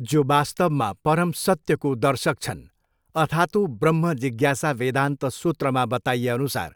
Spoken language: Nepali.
जो वास्तवमा परम सत्यको दर्शक छन्, अथातो ब्रह्म जिज्ञासा वेदान्त सुत्रमा बताइएअनुसार,